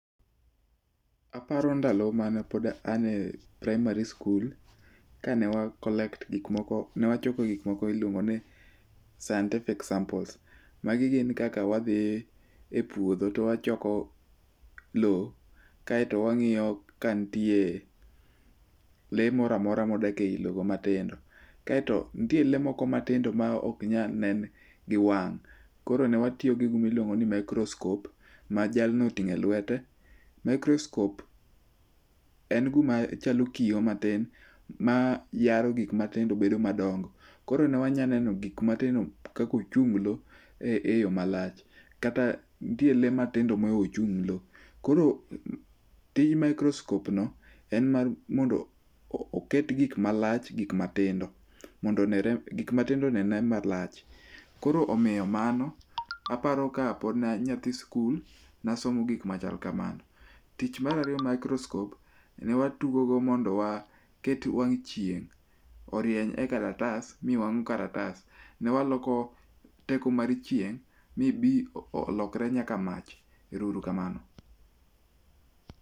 Aparo ndalo mane pod an e praimari skul, kane wa collect gik moko, ne wachoko gik miluongo ni scienctific samples. Magi gin kaka wadhi epuodho to wachoko lowo kaeto wang'iyo ka nitie lee moro amora modak eilo matin. Kae to nitie lee moko matindo maok nyal nen gi wang'. Koro ne watiyo gi gima iluongo ni microscope ma jalno oting'o elwete. microscope en gima chalo kiyo matin mayaro gik matindo to bedo madongo. Koro ne wanyalo neno gik matindo kaka ochunglo eyo malach. Kata nitie lee matindo mohewo ochunglo, koro tij microscope no en mar mondo oket gik malach gik matindo mondo gik matindo onere malach koro omiyo mano aparo kapod ne an nyathi sikul, ne asomo gik machal kamago. Tich mar ariyo microscope ne watugogo mondo waket wang'chieng orieny e kalatas, mi wang'o kalatas. Ne waloko teko mar chieng' bi bi olokre nyaka mach. Erouru kamano.